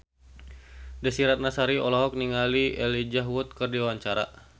Desy Ratnasari olohok ningali Elijah Wood keur diwawancara